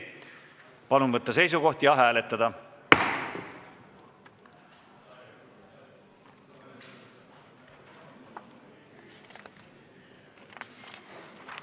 Palun võtta seisukoht ja hääletada!